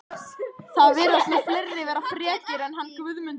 Það virðast nú fleiri vera frekir en hann Guðmundur litli